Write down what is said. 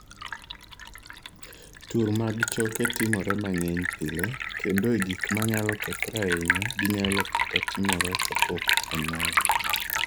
Tur mag choke timore mang�eny pile, kendo e gik ma nyalo kethore ahinya, ginyalo kata timore kapok onyuol.